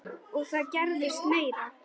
Og það gerðist meira.